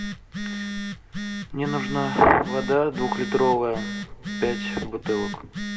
мне нужна вода двухлитровая пять бутылок